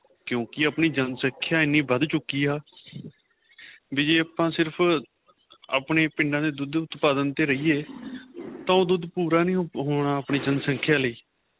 ਕਿਉਂਕਿ ਆਪਣੀ ਜਨਸੰਖਿਆ ਐਨੀ ਵੱਧ ਚੁੱਕੀ ਆਂ ਵੀ ਜੀ ਆਪਾਂ ਸਿਰਫ਼ ਆਪਣੇਂ ਪਿੰਡਾ ਦੇ ਦੁੱਧ ਉਤਪਾਦਨ ਤੇ ਰਹੀਏ ਤਾਂ ਉਹ ਦੁੱਧ ਪੂਰਾ ਨਹੀਂ ਹੋਣਾ ਆਪਣੀ ਜਨਸੰਖਿਆ ਲਈ